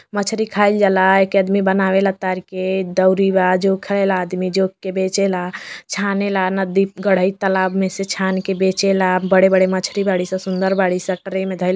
मछरी खाइल जाला। एके आदमी बनावेला तारी के। दउरी बा जोखे ला आदमी। जोख के बेचे ला छाने ला। नदी गढ़ई तलाब में से छान के बेचे ला। बड़े-बड़े मछरी बाड़ी स सुन्दर बाड़ी स। ट्रे में धइल --